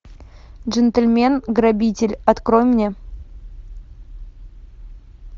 джентельмен грабитель открой мне